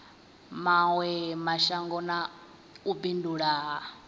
mawe mashango na u bindula